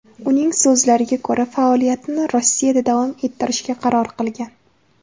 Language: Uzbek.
Uning so‘zlariga ko‘ra, faoliyatini Rossiyada davom ettirishga qaror qilgan.